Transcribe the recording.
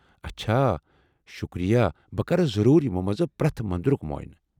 اچھا، شکریہ، بہٕ كر ضرور یمو منٛز پریتھ مندرُك معینہٕ۔